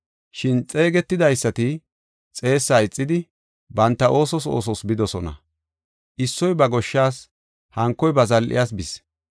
Shin xeegetidaysati xeessaa ixidi, banta oosos oosos bidosona. Issoy ba goshshas, hankoy ba zal7iyas bis.